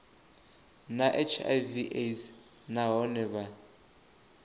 na hiv aids nahone vha